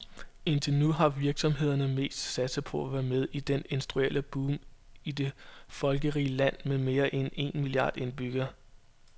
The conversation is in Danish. Indtil nu har virksomhederne mest satset på at være med i det industrielle boom i det folkerige land med mere end en milliard indbyggere.